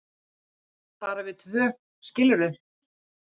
bara við tvö, skilurðu.